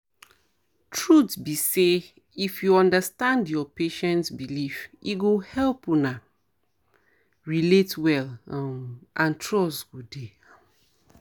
truth be say if you understand your patient beliefs e go help una um relate well um and trust go dey um